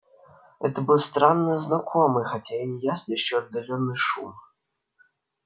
это был странно знакомый хотя и неясный ещё отдалённый шум